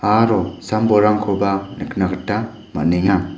aro sam-bolrangkoba nikna gita man·enga.